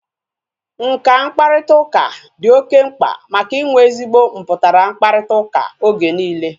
Nka mkparịta ụka dị oké mkpa maka inwe ezigbo mputara mkparịta ụka oge niile